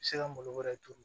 Se ka malo wɛrɛ turu